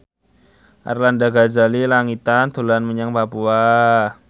Arlanda Ghazali Langitan dolan menyang Papua